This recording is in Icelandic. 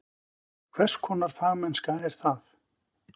Hvers konar fagmennska er það?